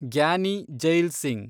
Giani Zail Singh